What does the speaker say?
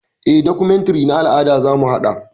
Eh, documentary na al'ada zamu haɗa.